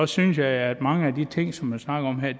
synes jeg at mange af de ting som man snakker om her